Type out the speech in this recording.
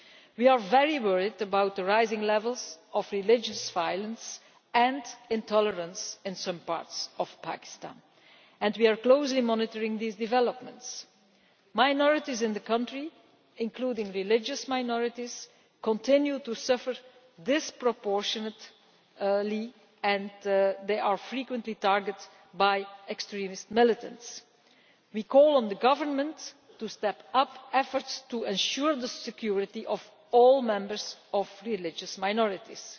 We are very worried about the rising levels of religious violence and intolerance in some parts of Pakistan and we are closely monitoring these developments. Minorities in the country, including religious minorities, continue to suffer disproportionately and they are frequently targeted by extremist militants. We call on the government to step up efforts to ensure the security of all members of religious minorities.